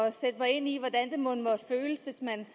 at sætte mig ind i hvordan det mon må føles hvis man